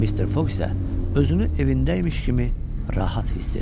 Mister Foq isə özünü evindəymiş kimi rahat hiss edirdi.